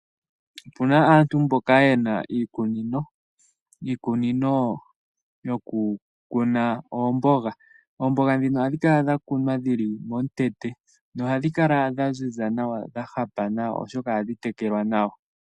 Opu na aantu mboka ye na iikunino, iikunino yokukuna oomboga . Oomboga ndhino ohadhi kala dha kunwa dhi li momikweyo nohadhi kala dha ziza dha hapa nawa, oshoka ohadhi tekelwa nawa.